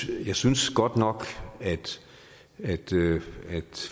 jeg synes godt nok at